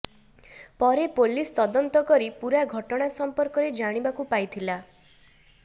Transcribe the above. ପରେ ପୋଲିସ୍ ତଦନ୍ତ କରି ପୂରା ଘଟଣା ସମ୍ପର୍କରେ ଜାଣିବାକୁ ପାଇଥିଲା